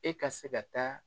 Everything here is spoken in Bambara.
E ka se ka taa.